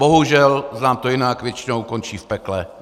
Bohužel znám to jinak, většinou končí v pekle.